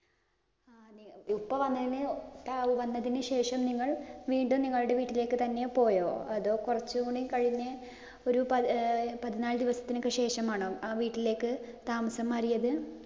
ഉപ്പ വന്നതിന് വന്നതിനുശേഷം നിങ്ങൾ വീണ്ടും നിങ്ങളുടെ വീട്ടിലേക്ക് തന്നെ പോയോ? അതോ കൊറച്ചുകൂടി കഴിഞ്ഞ് ഒരു പതി പതിനാല് ദിവസത്തിന് ഒക്കെ ശേഷമാണോ ആ വീട്ടിലേക്ക് താമസം മാറിയത്?